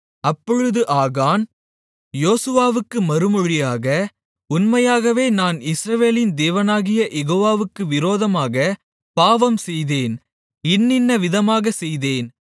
அப்பொழுது ஆகான் யோசுவாவுக்கு மறுமொழியாக உண்மையாகவே நான் இஸ்ரவேலின் தேவனாகிய யெகோவாவுக்கு விரோதமாகப் பாவம் செய்தேன் இன்னின்ன விதமாகச் செய்தேன்